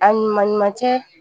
A ɲuman ɲuman cɛ